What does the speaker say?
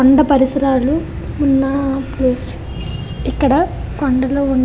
కొండ పరిసరాలు ఉన ప్లేస్ . ఇక్కడ కొనడలు --